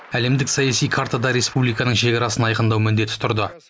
әлемдік саяси картада республиканың шекарасын айқындау міндеті тұрды